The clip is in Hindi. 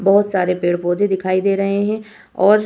बहुत सारे पेड़-पौधे दिखाई दे रहे है और --